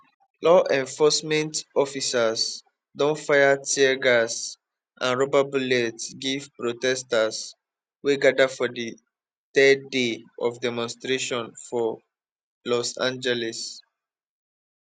law enforcement officers don fire tear gas and rubber bullets give protesters wey gada for di third day of demonstrations for los angeles